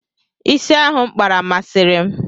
Ịsị ahụ M kpara, masịrị m.